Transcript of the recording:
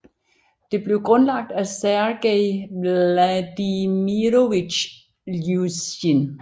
Det blev grundlagt af Sergej Vladimirovitj Iljusjin